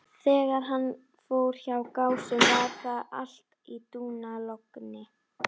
En hvernig legðist útsvarshækkun á Reykvíkinga?